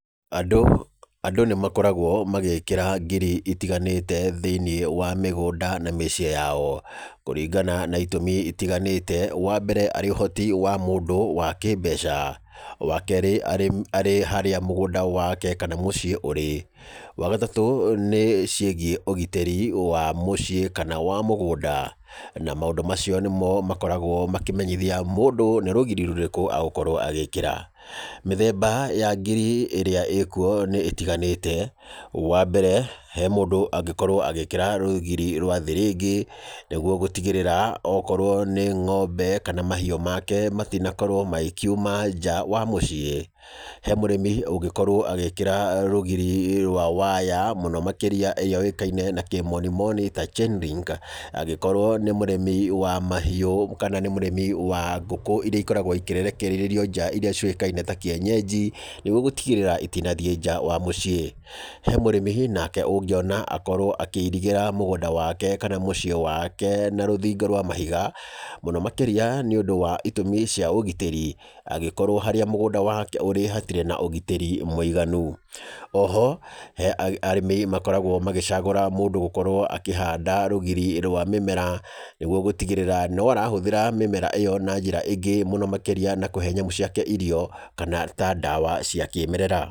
Andũ andũ nĩ makoragwo magĩkĩra ngiri itiganĩte thĩiniĩ wa mĩgũnda na mĩciĩ yao. Kũringana na itũmi itiganĩte, wa mbere arĩ ũhoti wa mũndũ wa kĩmbeca. Wa keerĩ arĩ arĩ harĩa mũgũnda wake kana mũciĩ ũrĩ. Wa gatatũ nĩ ciĩgiĩ ũgitĩri wa mũciĩ kana wa mũgũnda. Na maũndũ macio nĩmo makoragwo makĩmenyithia mũndũ nĩ rũgiri rũrĩkũ agũkorwo agĩkĩra. Mĩthemba ya ngiri ĩrĩa ĩĩ kuo nĩ ĩtiganĩte. Wa mbere, he mũndũ angĩkorwo agĩkĩra rũgiri rwa thĩrĩngĩ, nĩguo gũtigĩrĩra okorwo nĩ ng'ombe kana mahiũ make matinakorwo magĩkiuma nja wa mũciĩ. He mũrĩmi ũngĩkorwo agĩkĩra rũgiri rwa waya, mũno makĩria yũĩkaine na kĩmoni moni ta chain ring angĩkorwo nĩ mũrĩmi wa mahiũ kana nĩ mũrĩmi wa ngũkũ irĩa ikoragwo ikĩrekererio nja irĩa ciũkaine ta kĩenyenji, nĩguo gũtigĩrĩra itinathiĩ nja wa mũciĩ. He mũrĩmi nake ũngĩona akorwo akĩirigĩra mũgũnda wake kana mũciĩ wake na rũthingo rwa mahiga, mũno makĩria nĩ ũndũ wa itũmi cia ũgitĩri. Angĩkorwo harĩa mũgũnda wake hatirĩ na ũgitĩri mũiganu. Oho, he arĩmi makoragwo magĩcagũra mũndũ gũkorwo akĩhanda rũgiri rwa mĩmera, nĩguo gũtigĩrĩra no arahũthĩra mĩmera ĩyo na njĩra ĩngĩ mũno makĩria na kũhe nyamũ ciake irio kana ta ndawa cia kĩmerera.